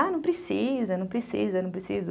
Ah, não precisa, não precisa, não precisa.